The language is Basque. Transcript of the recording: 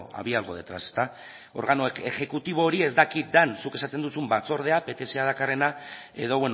había algo detrás ezta organo exekutibo hori ez dakit den zuk esaten duzun batzordea pts dakarrena edo